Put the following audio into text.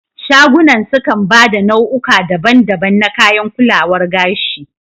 Shagunan sukan ba da nau'uka daban daban na kayan kulawar gashi